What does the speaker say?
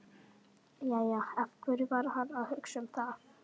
Jæja, af hverju var hann að hugsa um það?